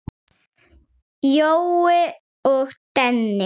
Jói og Denni.